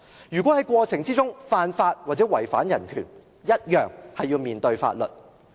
如果政府在過程中犯法或違反人權，一樣要面對法律。